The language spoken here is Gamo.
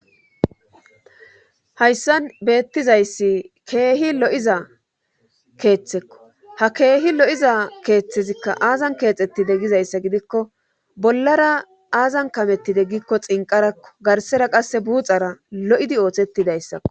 Hayssan beettizayssi keehi lo'iza keeththekko ha keehi lo'iza keeththezikka aazan keexettide gizayssa gidikko bollara aazan kamettide gikko xinqarakko garsera qasse buuxara lo7idi oothettidayssako